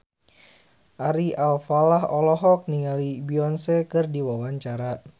Ari Alfalah olohok ningali Beyonce keur diwawancara